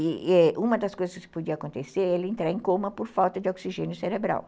E é uma das coisas que podia acontecer é ele entrar em coma por falta de oxigênio cerebral.